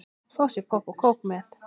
Fá sér popp og kók með.